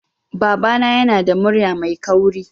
Babana yana da murya mai kauri